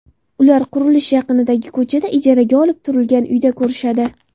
Ular qurilish yaqinidagi ko‘chada, ijaraga olib turilgan uyda ko‘rishadi.